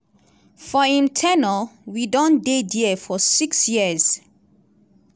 for im ten ure we don dey dia for six years.